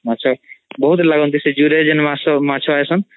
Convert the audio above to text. ମାଛ ବହୁତ୍ ଲାଗନ୍ତି ସେଇ ମାଛ ଆସନ୍